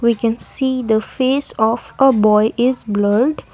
we can see the face of a boy is blurred.